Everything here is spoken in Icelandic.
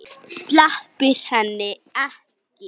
Sleppir henni ekki.